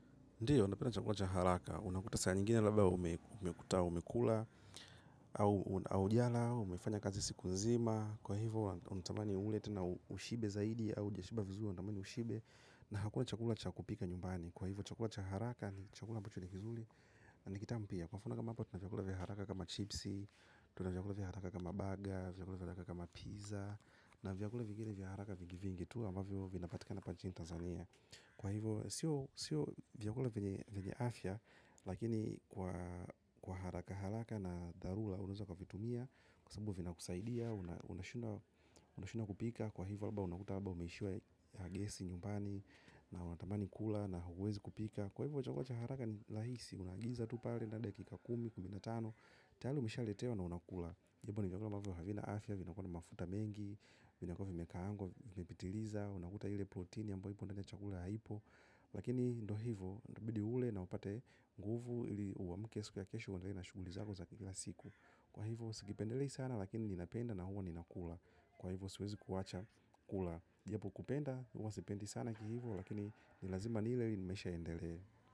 Ndiyo, napenda chakula cha haraka. Unakuta saa nyingine labba umekuta umekula, au hujala, umefanya kazi siku nzima. Kwa hivo, unatamani ule, tena ushibe zaidi, au hujashiba vizuri unatamani ushibe. Na hakuna chakula cha kupika nyumbani. Kwa hivo, chakula cha haraka ni chakula ambacho ni kizuri na ni kitamu pia. Kwa mfano kama hapa tuna vyakula vya haraka kama chipsi, tuna vyakula vya haraka kama baga, vyakula vya haraka kama pizza, na vyakula vingine vya haraka vingi vingi tu ambavyo vinapatika hapa nchini Tanzania. Kwa hivyo sio sio vyakula vyenye afya lakini kwa haraka haraka na dharura unaweza ukavitumia, kwa sababu vinakusaidia, unashindwa kupika kwa hivyo alba unakuta alba umeishiwa na gesi nyumbani na unatamani kula na huwezi kupika kwa hivyo chakula cha haraka ni rahisi, unaagiza tu pale na dakika kumi, kumi na tano tayali umeshaletewa na unakula hivyo ni vyakula ambavyo havina afya, vinakuwa na mafuta mengi vinakuwa vimekaangwa, vimepitiliza unakuta ile protini ambayo ipo ndani ya chakula haipo. Lakini ndo hivo, itabidi ule na upate nguvu ili uamke siku ya kesho uendelee na shuguli zako za kila siku. Kwa hivo, sikipendelei sana lakini ninapenda na huwa ninakula. Kwa hivo, siwezi kuwacha kula. Japo kupenda, huwa sipendi sana kihivo lakini ni lazima nile ili maisha yaendelee.